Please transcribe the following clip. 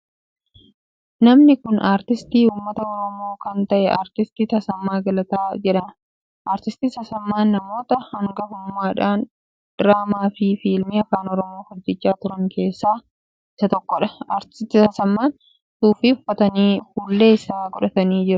Namni kun aartistii uummata Oromoo kan ta'e Aartist Tasammaa Galataa jedhama. Aartist Tasammaan namoota hangafummaadhaan diraamaa fi fiilmii afaan Oromoo hojjechaa turan keessaa isa tokkodha. Aartist Tasammaan suufii uffatanii fuullee ijaa godhatanii jiru.